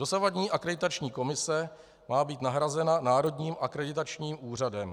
Dosavadní Akreditační komise má být nahrazena Národním akreditačním úřadem.